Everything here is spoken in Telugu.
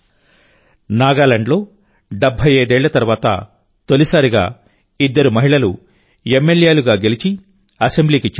నాగాలాండ్లో 75 ఏళ్ల తర్వాత తొలిసారిగా ఇద్దరు మహిళా ఎమ్మెల్యేలు గెలిచి అసెంబ్లీకి చేరుకున్నారు